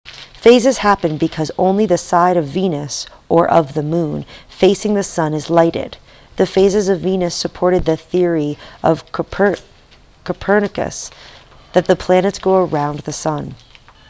phases happen because only the side of venus or of the moon facing the sun is lighted. the phases of venus supported the theory of copernicus that the planets go around the sun